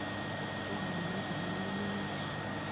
Kianamage, manyoni.